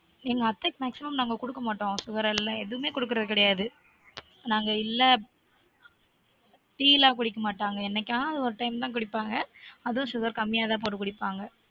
எங்க அத்தைக்க maximum நாங்க குடுக்க மாட்டொம் sugar எல்லான் எதூமே குடுக்குரது கெடயாது நாங்க இல்ல ப் tea லான் குடிக்க மாட்டங்க என்னைக்காவது ஒரு time தான் குடிப்பாங்க அதுவும் sugar கம்மியா தான் போட்டு குடிப்பாங்க